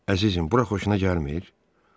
Əzizim, bura xoşuna gəlmir?